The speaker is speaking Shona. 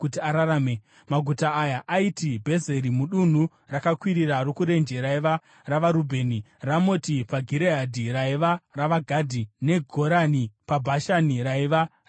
Maguta aya aiti: Bhezeri mudunhu rakakwirira rokurenje raiva ravaRubheni; Ramoti paGireadhi, raiva ravaGadhi; neGorani paBhashani, raiva ravaManase.